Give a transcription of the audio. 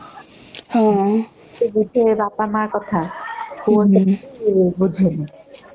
ହଁ ସେ ବୁଝେ ବାପା ମା ର କଥା ଫୋନ କରିକି ବୁଝେ ହୁଁ